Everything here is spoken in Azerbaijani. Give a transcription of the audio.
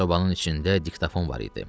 Sobanın içində diktofon var idi.